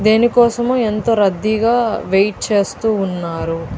దేని కోసమో ఎంతో రద్దీగా వెయిట్ చేస్తూ ఉన్నారు.